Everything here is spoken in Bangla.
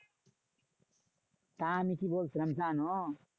তা আমি কি বলছিলাম জানো?